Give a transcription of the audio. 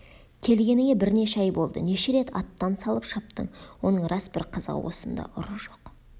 келгеніңе бірнеше ай болды неше рет аттан салып шаптың оның рас бір қызығы осында ұры жоқ